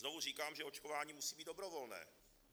Znovu říkám, že očkování musí být dobrovolné.